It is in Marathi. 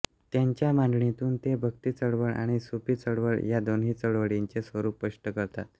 त्यांच्या मांडणीतून ते भक्तीचळवळ आणि सूफी चळवळ या दोन्ही चळवळींचे स्वरूप स्पष्ट करतात